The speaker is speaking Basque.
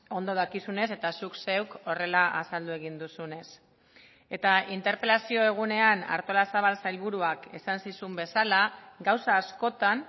ondo dakizunez eta zuk zeuk horrela azaldu egin duzunez eta interpelazio egunean artolazabal sailburuak esan zizun bezala gauza askotan